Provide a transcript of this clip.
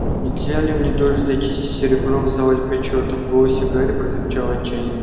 нельзя ли мне тоже зачистить серебро в зале почёта в голосе гарри прозвучало отчаяние